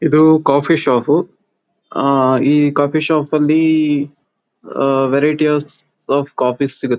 ಇದು coffee shop. ಆ ಈ ಕಾಫಿ ಶಾಪ್ ಅಲ್ಲಿ ವೈರೈಟಿಸ್ ಆಫ್ ಕಾಫಿ ಸಿಗತ್ತೆ.